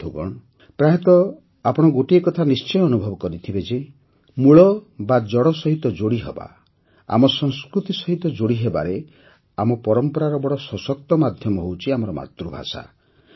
ବନ୍ଧୁଗଣ ପ୍ରାୟତଃ ଆପଣ ଗୋଟିଏ କଥା ନିଶ୍ଚୟ ଅନୁଭବ କରିଥିବେ ଯେ ମୂଳ ବା ଜଡ଼ ସହିତ ଯୋଡ଼ିହେବା ଆମ ସଂସ୍କୃତି ସହିତ ଯୋଡ଼ିହେବାରେ ଆମ ପରମ୍ପରାର ବଡ଼ ସଶକ୍ତ ମାଧ୍ୟମ ହେଉଛି ଆମର ମାତୃଭାଷା